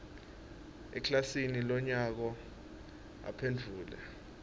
ekilasini lonyaka uphendvule